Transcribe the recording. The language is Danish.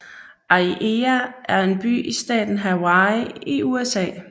Aiea er en by i staten Hawaii i USA